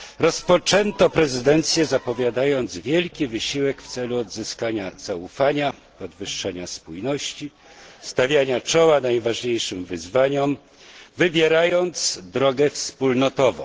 Rozpoczęto prezydencję, zapowiadając wielki wysiłek w celu odzyskania zaufania, podwyższenia spójności, stawiania czoła najważniejszym wyzwaniom, wybierając drogę wspólnotową.